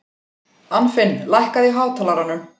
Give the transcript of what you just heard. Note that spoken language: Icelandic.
Anfinn, lækkaðu í hátalaranum.